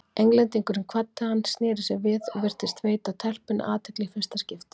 Englendingurinn kvaddi hann, sneri sér við og virtist veita telpunni athygli í fyrsta skipti.